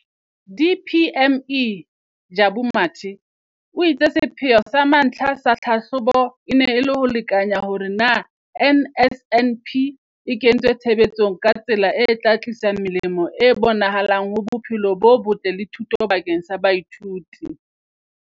DPME, Jabu Mathe, o itse sepheo sa mantlha sa tlhahlobo e ne e le ho lekanya hore na NSNP e kentswe tshebetsong ka tsela e tla tlisa melemo e bonahalang ho bophelo bo botle le thuto bakeng sa baithuti.